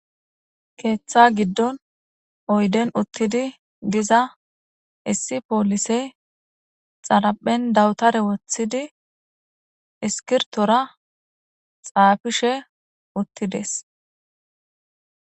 Keththa giddin oydden uttidi diiza issi pollisey xaraphphen dawutare woththidi isskirtora xaffishe uttides.